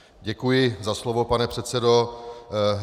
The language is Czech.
Děkuji za slovo, pane předsedo.